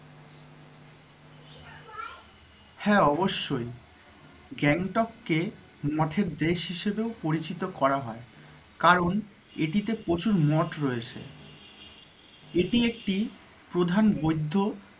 হ্যাঁ অবশ্যই গ্যাংটক কে মঠের দেশ হিসেবেও পরিচিত করা হয় কারণ এটিতে প্রচুর মঠ রয়েছে। এটি একটি প্রধান বৌদ্ধ,